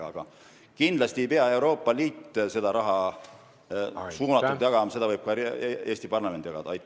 Aga kindlasti ei pea Euroopa Liit seda raha suunatult jagama, seda võib ka Eesti parlament jagada.